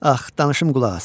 Ax, danışım, qulaq as.